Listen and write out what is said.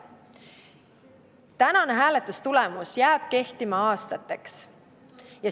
Tänane hääletustulemus jääb kehtima aastateks.